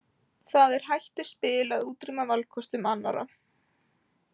Það er hættuspil að útrýma valkostum annarra.